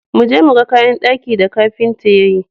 Mu je mu ga kayan daki da kafinta ya yi.